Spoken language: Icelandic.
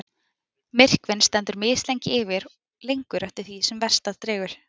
Myrkvinn stendur mislengi yfir, lengur eftir því sem vestar dregur.